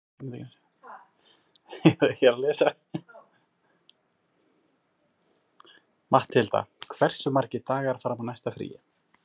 Matthilda, hversu margir dagar fram að næsta fríi?